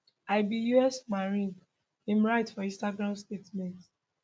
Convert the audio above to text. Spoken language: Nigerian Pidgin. i be us marine im write for instagram statement